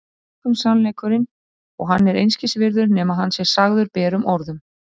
Einkum sannleikurinn, og hann er einskis virði nema að hann sé sagður berum orðum